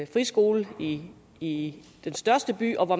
friskole i i den største by og hvor